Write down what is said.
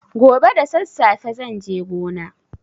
Gobe da sassafe zan je gona.